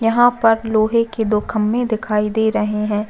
यहाँ पर लोहे के दो खम्बे दिखाई दे रहे है।